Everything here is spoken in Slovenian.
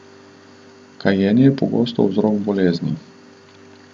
Kajenje je pogost vzrok bolezni.